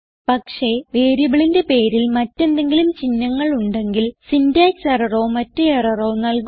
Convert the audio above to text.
പക്ഷേ വേരിയബിളിന്റെ പേരിൽ മറ്റ് എന്തെങ്കിലും ചിഹ്നങ്ങൾ ഉണ്ടെങ്കിൽ സിന്റാക്സ് എററോ മറ്റ് എററോ നൽകുന്നു